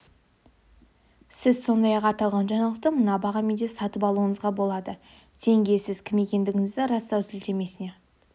сіз сондай-ақ аталған жаңалықты мына бағамен де сатып алуыңызға болады тенге сіз кім екендігіңізді растау сілтемесіне